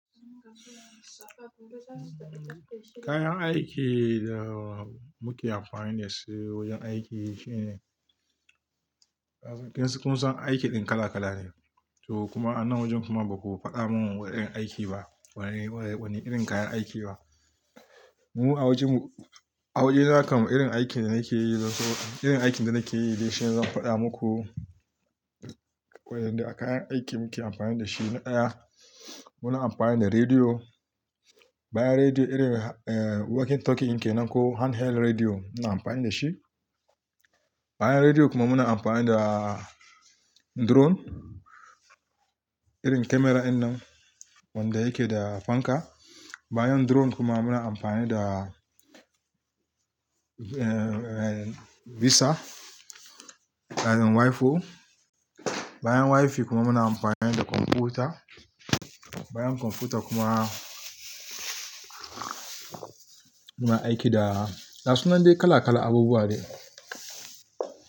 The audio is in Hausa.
Kayan aikin da muke amfani da su wajen aiki shine, kin san aikin kala-kala ne. To kuma a nan wajen kuma ba ku faɗa mun wani irin aiki ba, wani irin kayan aiki ba. Mu a wajen mu, a wajena kan irin aikin da nake yi zai zo, irin aikin da nake yi ne zan faɗa muku. Waƴanda kayan aiki muke amfani da shi na ɗaya, muna amfani da rediyo. Bayan rediyo irin walkie talkie ke nan ko handheld rediyo ina amfani da shi. Bayan rediyo kuma muna amfani da drone, irin kyamara innan wanda yake da fanka. Bayan drone kuma muna amfani da visa, kayan wifi. Bayan wifi kuma muna amfani da kwamfuta. Bayan kwamfuta kuma muna aiki da, da gasunab dai kala-kala abubuwa ne.